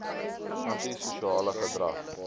anti sosiale gedrag